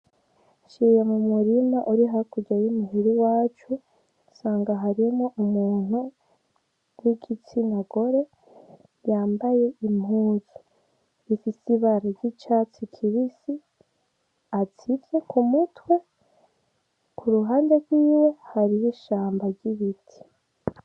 Nciye mumurima uri hakurya y' iwacu nsanga harimwo umuntu w' igitsina gore yambaye impuzu zifise ibara ry' icatsi kibisi atsivye kumutwe kuruhande gwiwe hariho ishamba ry' ibiti.